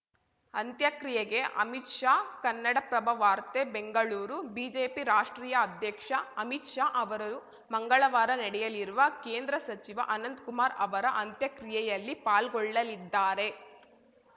ಅಂತ್ಯಕ್ರಿಯೆಗೆ ಅಮಿತ್‌ ಶಾ ಕನ್ನಡಪ್ರಭವಾರ್ತೆ ಬೆಂಗಳೂರು ಬಿಜೆಪಿ ರಾಷ್ಟ್ರೀಯ ಅಧ್ಯಕ್ಷ ಅಮಿತ್‌ ಶಾ ಅವರು ಮಂಗಳವಾರ ನಡೆಯಲಿರುವ ಕೇಂದ್ರ ಸಚಿವ ಅನಂತ್ ಕುಮಾರ್‌ ಅವರ ಅಂತ್ಯಕ್ರಿಯೆಯಲ್ಲಿ ಪಾಲ್ಗೊಳ್ಳಲಿದ್ದಾರೆ